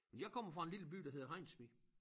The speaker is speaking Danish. Men jeg kommer fra en lille by der hedder Hejnsvig